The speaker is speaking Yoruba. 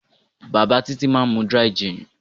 Bàbá Títí máa ń mu dry-gin.